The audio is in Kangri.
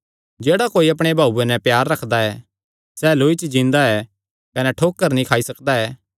जेह्ड़ा कोई अपणे भाऊये नैं प्यार रखदा ऐ सैह़ लौई च जींदा ऐ कने ठोकर नीं खाई सकदा ऐ